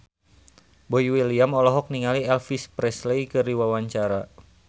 Boy William olohok ningali Elvis Presley keur diwawancara